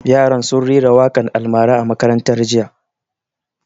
Yaran sun rera waƙan almara a makaranta jiya